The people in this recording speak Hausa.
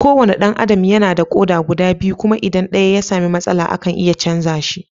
Kowane ɗan Adam yana da ƙoda guda biyu kuma idan ɗaya ya sami matsala, akan iya chanza shi.